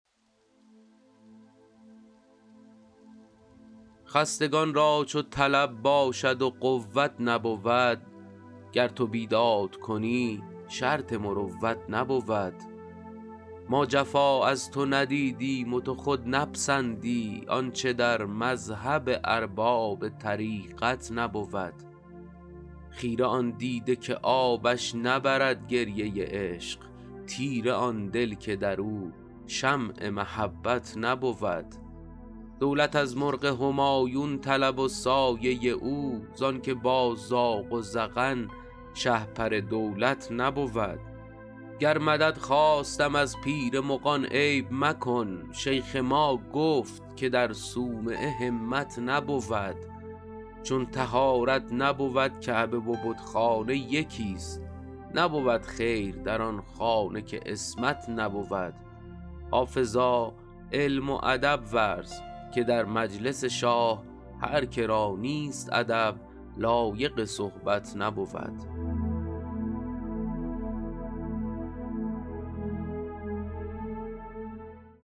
خستگان را چو طلب باشد و قوت نبود گر تو بیداد کنی شرط مروت نبود ما جفا از تو ندیدیم و تو خود نپسندی آنچه در مذهب ارباب طریقت نبود خیره آن دیده که آبش نبرد گریه عشق تیره آن دل که در او شمع محبت نبود دولت از مرغ همایون طلب و سایه او زان که با زاغ و زغن شهپر دولت نبود گر مدد خواستم از پیر مغان عیب مکن شیخ ما گفت که در صومعه همت نبود چون طهارت نبود کعبه و بتخانه یکیست نبود خیر در آن خانه که عصمت نبود حافظا علم و ادب ورز که در مجلس شاه هر که را نیست ادب لایق صحبت نبود